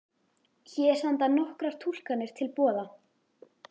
Hér standa nokkrar túlkanir til boða.